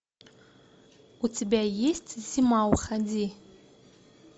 у тебя есть зима уходи